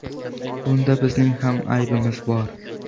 Bunda bizning ham aybimiz bor.